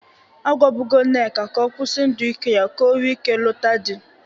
A gwabụgo Nneka ka ọ kwusi ndụ iwe ya ka o nwee ike lụta dị.